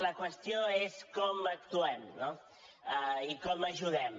la qüestió és com actuem no i com ajudem